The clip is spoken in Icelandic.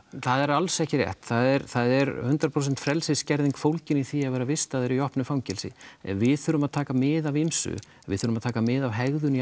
það er alls ekki rétt það er það er hundrað prósent frelsisskerðing fólgin í því að vera vistaður í opnu fangelsi við þurfum að taka mið af ýmsu við þurfum að taka mið af hegðun í